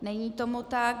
Není tomu tak.